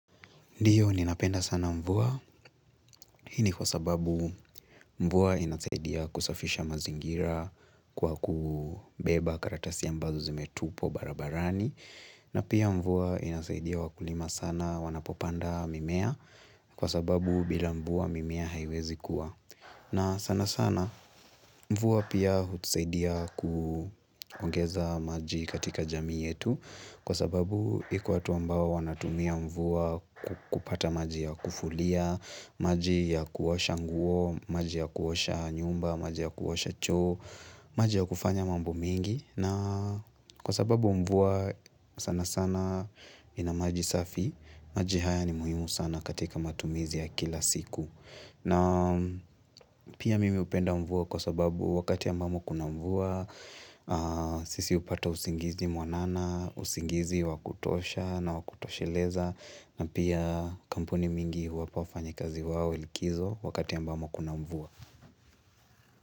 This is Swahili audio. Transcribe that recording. Ndio, ninapenda sana mvua. Hi ni kwa sababu mvua inasaidia kusafisha mazingira kwa kubeba karatasi ambazo zimetupwa barabarani. Na pia mvua inasaidia wakulima sana wanapopanda mimea kwa sababu bila mvua mimea haiwezi kuwa. Na sana sana mvua pia hutusaidia kuongeza maji katika jamii yetu kwa sababu iko watu ambao wanatumia mvua kupata maji ya kufulia, maji ya kuosha nguo, maji ya kuosha nyumba, maji ya kuosha choo, maji ya kufanya mambo mingi na kwa sababu mvua sana sana ina maji safi, maji haya ni muhimu sana katika matumizi ya kila siku. Na pia mimi hupenda mvua kwa sababu wakati ambapo kuna mvua, sisi hupata usingizi mwanana, usingizi wa kutosha na wa kutosheleza na pia kampuni mingi wanaweza fanya kazi yao likizo wakati ambamo kuna mvua.